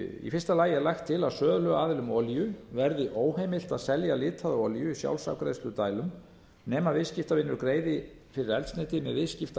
í fyrsta lagi er lagt til að söluaðilum olíu verði óheimilt að selja litaða olíu í sjálfsafgreiðsludælum nema viðskiptavinur greiði fyrir eldsneytið með